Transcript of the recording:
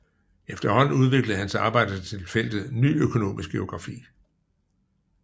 Efterhånden udviklede hans arbejde sig til feltet Ny Økonomisk Geografi